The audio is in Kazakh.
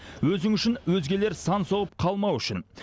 өзің үшін өзгелер сан соғып қалмауы үшін